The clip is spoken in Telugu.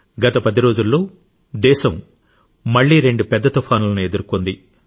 గత 10 రోజుల్లో దేశం మళ్లీ రెండు పెద్ద తుఫానులను ఎదుర్కొంది